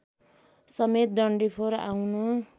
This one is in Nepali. समेत डन्डिफोर आउन